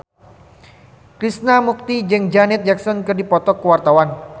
Krishna Mukti jeung Janet Jackson keur dipoto ku wartawan